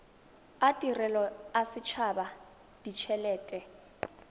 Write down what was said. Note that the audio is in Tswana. a tirelo a setshaba ditshelete